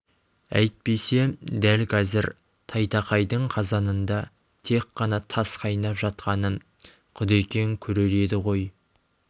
әйтпесе дәл қазір тайтақайдың қазанында тек қана тас қайнап жатқанын құдекең көрер еді ғой